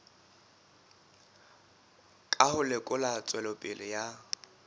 ka ho lekola tswelopele ya